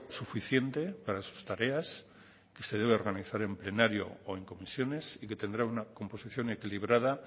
suficiente para sus tareas que se debe organizar en plenario o en comisiones y que tendrá una composición equilibrada